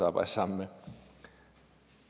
arbejde sammen med